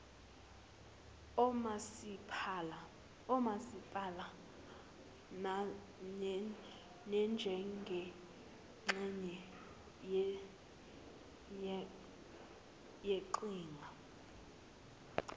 omasipala nanjengengxenye yeqhinga